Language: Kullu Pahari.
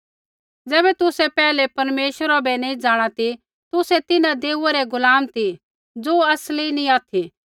ज़ैबै तुसै पैहलै परमेश्वरा बै नैंई जाँणा ती तुसै तिन्हां देऊआ रै गुलाम ती ज़ो असली नैंई ऑथि